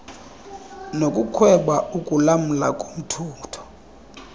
nokukhweba ukulamla kombutho